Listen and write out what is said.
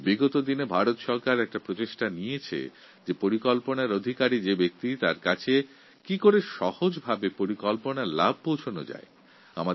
সম্প্রতি ভারত সরকার এক প্রকল্প শুরু করেছে যাতে বিভিন্ন প্রকল্পের সুফল যোগ্য ব্যক্তির কাছে সহজে পৌঁছায়